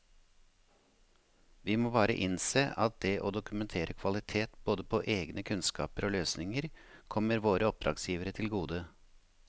Vi må bare innse at det å dokumentere kvalitet både på egne kunnskaper og løsninger kommer våre oppdragsgivere til gode.